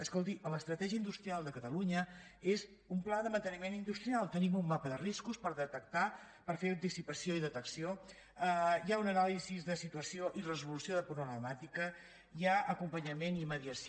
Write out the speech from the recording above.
escolti l’estratègia industrial de catalunya és un pla de manteniment industrial tenim un mapa de riscos per detectar per fer anticipació i detecció hi ha una anàlisi de situació i resolució de problemàtica hi ha acompanyament i mediació